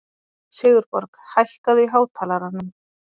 Sigurborg, hækkaðu í hátalaranum.